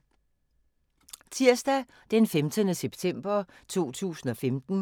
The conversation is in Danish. Tirsdag d. 15. september 2015